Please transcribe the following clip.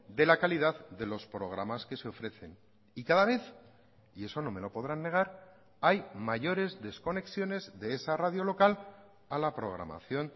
de la calidad de los programas que se ofrecen y cada vez y eso no me lo podrán negar hay mayores desconexiones de esa radio local a la programación